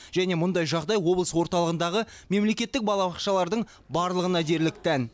және мұндай жағдай облыс орталығындағы мемлекеттік балабақшалардың барлығына дерлік тән